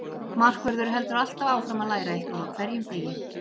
Markvörður heldur alltaf áfram að læra eitthvað á hverjum degi.